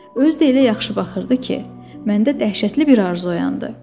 Özü də elə yaxşı baxırdı ki, məndə dəhşətli bir arzu oyandı.